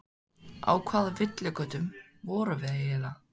Á hvaða villigötum vorum við eiginlega?